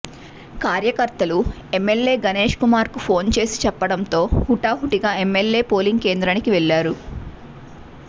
కార్యకర్తలు ఎమ్మెల్యే గణేష్ కుమార్ కు ఫోన్ చేసి చెప్పడంతో హుటాహుటిన ఎమ్మెల్యే పోలింగ్ కేంద్రానికి వెళ్లారు